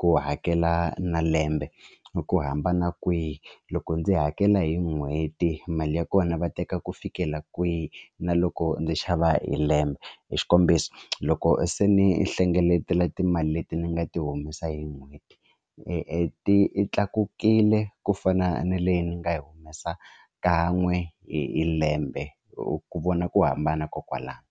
ku hakela na lembe hi ku hambana kwihi loko ndzi hakela hi n'hweti mali ya kona va teka ku fikela kwihi na loko ndzi xava hi lembe i xikombiso loko se ni hlengeletela timali leti ni nga ti humesa hi n'hweti i ti tlakukile ku fana na leyi ni nga yi humesa kan'we hi hi lembe hi ku vona ku hambana kokwalaho.